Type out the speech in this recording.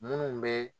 Munnu be